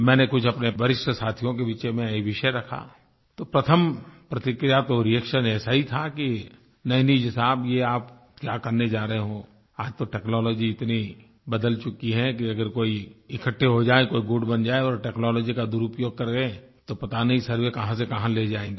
मैंने कुछ अपने वरिष्ठ साथियों के बीच में ये विषय रखा तो प्रथम प्रतिक्रिया तो रिएक्शन ऐसा ही था कि नहींनहीं जी साहब ये आप क्या करने जा रहे हो आज तो टेक्नोलॉजी इतनी बदल चुकी है कि अगर कोई इकट्ठे हो जाये कोई गुट बन जाये और टेक्नोलॉजी का दुरूपयोग कर गये तो पता नहीं सर्वे कहाँ से कहाँ ले जाएंगे